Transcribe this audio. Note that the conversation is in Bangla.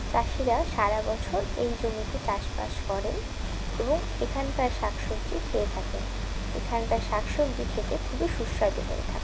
চাষিরা সারা বছর এই জমিতে চাষবাস করে এবং এখানকার শাকসবজি খেয়ে থাকেন এখানকার শাকসবজি খেতে খুবই সুস্বাদু হয়ে থাকে।